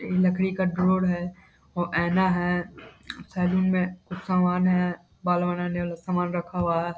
एक लकड़ी का डोर हैं वो ऐना हैं सैलून में कुछ सामान हैं बाल बनाने वाला सामान रखा हुआ हैं।